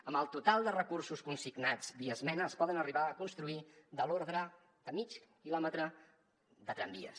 amb el total de recursos consignats via esmena es poden arribar a construir de l’ordre de mig quilòmetre de tramvies